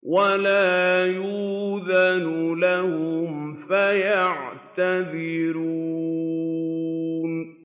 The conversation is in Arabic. وَلَا يُؤْذَنُ لَهُمْ فَيَعْتَذِرُونَ